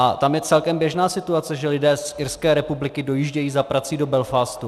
A tam je celkem běžná situace, že lidé z Irské republiky dojíždějí za prací do Belfastu.